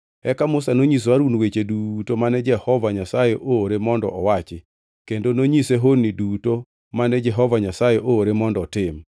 Eka Musa nonyiso Harun weche duto mane Jehova Nyasaye oore mondo owachi, kendo nonyise honni duto mane Jehova Nyasaye oore mondo otim.